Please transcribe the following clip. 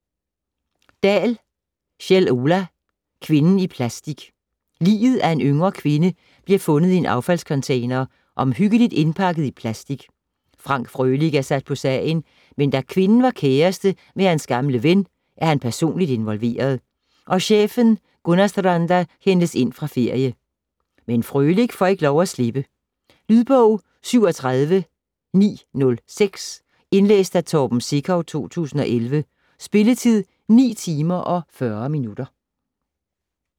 Dahl, Kjell Ola: Kvinden i plastic Liget af en yngre kvinde bliver fundet i en affaldscontainer, omhyggeligt indpakket i plastic. Frank Frølich er sat på sagen, men da kvinden var kæreste med hans gamle ven, er han personlig involveret, og chefen Gunnarstranda hentes ind fra ferie. Men Frølich får ikke lov at slippe. Lydbog 37906 Indlæst af Torben Sekov, 2011. Spilletid: 9 timer, 40 minutter.